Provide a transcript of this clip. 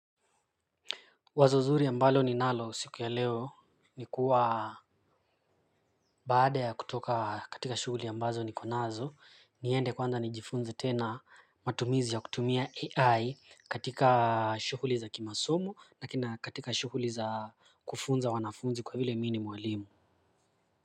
Wazo zuri ambalo ninalo siku ya leo ni kuwa baada ya kutoka katika shughuli ambazo niko nazo niende kwanza nijifunze tena matumizi ya kutumia AI katika shughuli za kimasomo na kina katika shughuli za kufunza wanafunzi kwa vile mi ni mwalimu.